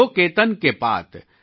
जो केतन के पात